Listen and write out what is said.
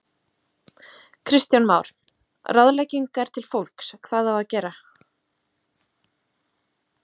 Kristján Már: Ráðleggingar til fólks, hvað á að gera?